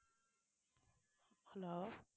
hello